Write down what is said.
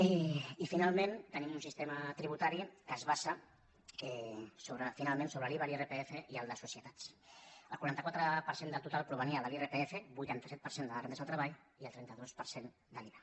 i finalment tenim un sistema tributari que es basa finalment sobre l’iva l’irpf i el de societats el quaranta quatre per cent del total provenia de l’irpf vuitanta set per cent de les rendes del treball i el trenta dos per cent de l’iva